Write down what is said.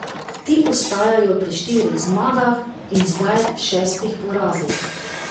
Ti ostajajo pri štirih zmagah in zdaj šestih porazih.